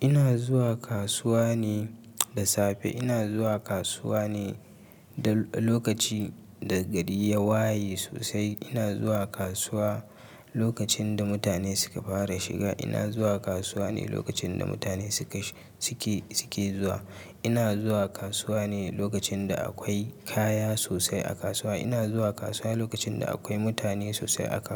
Ina zuwa kasuwa ne da safe. Ina zuwa kasuwa ne lokaci da gari ya waye sosai. Ina zuwa kasuwa lokacin da mutane suka fara shiga. Ina zuwa kasuwa ne lokacin da mutane suka, suke, suke zuwa. Ina zuwa kasuwa ne lokacin da akwai kaya sosai a kasuwa. Ina zuwa kasuwa lokacin da akwai mutane sosai a kasuwa.